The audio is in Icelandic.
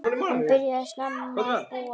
Hann byrjaði snemma að búa.